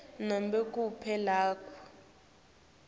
nobe kuphi lapho